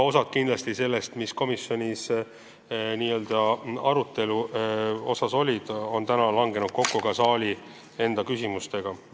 Osa küsimustest, mis olid komisjoni istungil arutelu all, on kindlasti sellised, mis langevad kokku täna siin saalis esitatud küsimustega.